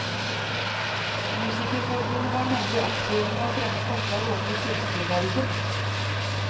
Musikerforbundet var nemlig aktive med å fremme forslag overfor kirkevergen.